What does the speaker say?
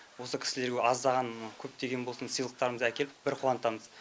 осы кісілерге аздаған көптеген болсын сыйлықтарымыз әкеп бір қуантамыз